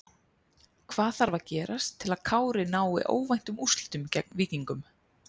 Hvað þarf að gerast til að Kári nái óvæntum úrslitum gegn Víkingum?